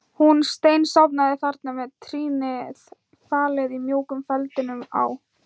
Hún steinsofnaði þarna með trýnið falið í mjúkum feldinum á